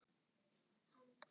Út af Helga og svona.